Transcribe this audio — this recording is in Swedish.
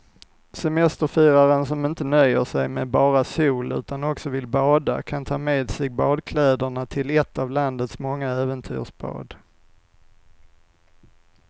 Semesterfiraren som inte nöjer sig med bara sol utan också vill bada kan ta med sig badkläderna till ett av landets många äventyrsbad.